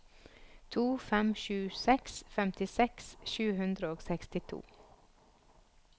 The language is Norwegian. to fem sju seks femtiseks sju hundre og sekstito